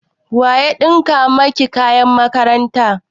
Wa ya ɗinka maki kayan makaranta?